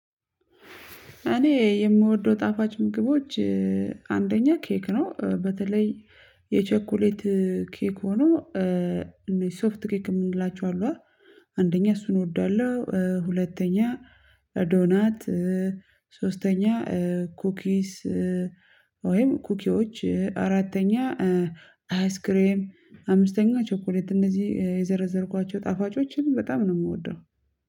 እኔ የምወደው ጣፋጭ ምግቦች አንደኛ ኬክ ነው በተለይ የቸኮሌት ኬክ ሆኖ ሶፍት ኬክ የምንላቸው አሉ አ አንደኛ እሱን እወዳለሁ። ሁለተኛ ዶናት ሶስተኛ ኩኪስ ኩኪዎች አራተኛ አይስክሬም አምስተኛ ቸኮሌት እንደዚህ የዘረዘርኳቸው ጣፋጮችን በጣም ነው የምወደው